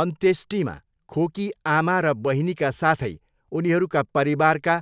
अन्त्येष्टिमा खोकी आमा र बहिनीका साथै उनीहरूका परिवारका